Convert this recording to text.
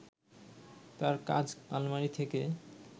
তার কাজ আলমারি থেকে